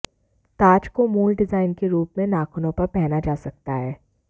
ताज को मूल डिजाइन के रूप में नाखूनों पर पहना जा सकता है